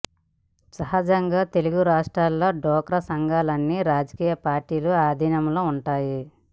సహజంగా తెలుగు రాష్ట్రాల్లో డ్వాక్రా సంఘాలన్నీ రాజకీయ పార్టీల అధీనంలో ఉంటాయి